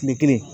Kile kelen